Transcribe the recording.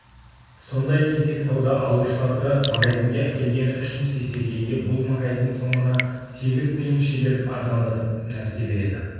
сондай кесек сауда алушыларды магазинге әкелгені үшін сейсекеге бұл магазин сомына сегіз тиын шегеріп арзандатып нәрсе береді